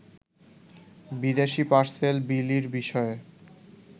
বিদেশী পার্সেল বিলির বিষয়ে